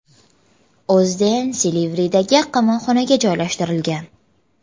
O‘zden Silivridagi qamoqxonaga joylashtirilgan.